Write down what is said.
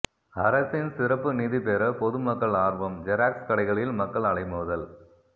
அரசின் சிறப்பு நிதிபெற பொதுமக்கள் ஆர்வம் ஜெராக்ஸ் கடைகளில் மக்கள் அலைமோதல்